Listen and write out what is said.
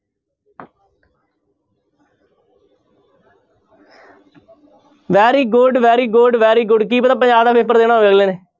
Very good, very good, very good ਕੀ ਪਤਾ ਪੰਜਾਬ ਦਾ ਪੇਪਰ